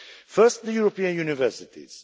First, the European universities.